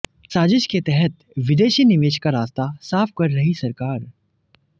साजिश के तहत विदेशी निवेश का रास्ता साफ कर रही सरकार